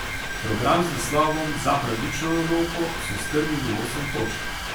Program z naslovom Za pravično Evropo so strnili v osem točk.